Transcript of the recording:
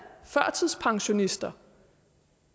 førtidspensionister